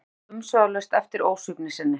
Thomas sá umsvifalaust eftir ósvífni sinni.